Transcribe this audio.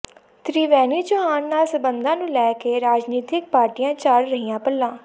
ਤਿ੍ਵੈਣੀ ਚੌਹਾਨ ਨਾਲ ਸਬੰਧਾਂ ਨੂੰ ਲੈ ਕੇ ਰਾਜਨੀਤਿਕ ਪਾਰਟੀਆਂ ਝਾੜ ਰਹੀਆਂ ਪੱਲਾ